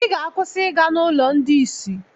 Ị ga-akwụsị ịga n'ụlọ ndị isi.